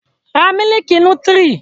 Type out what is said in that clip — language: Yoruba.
Ra mílìkì nútírì!